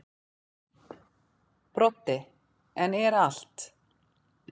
Broddi: En er allt.